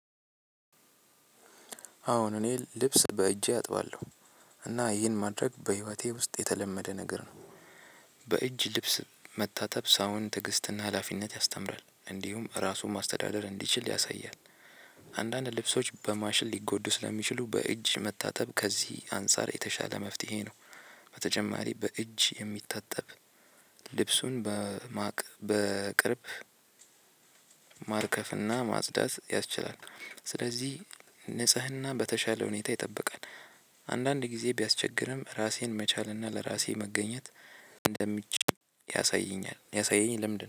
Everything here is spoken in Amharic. አዎን እኔ ልብስ በእጄ አጥባለሁ እና ይህን ማድረግ በህይወቴ ውስጥ የተለመደ ነገር ነው። በእጅ ልብስ መታጠብ ሰውን ትዕግስትና ሀላፊነት ያስተምራል እንዲሁም ራሱን ማስተዳደር እንዲችል ያሳያል። አንዳንድ ልብሶች በማሽን ሊጎዱ ስለሚችሉ በእጅ መታጠብ ከዚህ አንፃር የተሻለ መፍትሄ ነው። በተጨማሪ በእጅ የሚታጠብ ልብሱን በማወቅ በቅርብ ማርከፍና ማጽዳት ያስችላል። ስለዚህ ንጽህና በተሻለ ሁኔታ ይጠብቃል። አንዳንድ ጊዜ ቢያስቸግርም ራሴን መቻልና ለራሴ መገኘት እንደምችል ያሳየኛል ያሳየኝ ለምንድነው